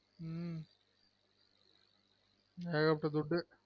உம் ஏக பட்ட துட்டு